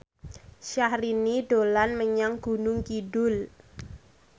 Syahrini dolan menyang Gunung Kidul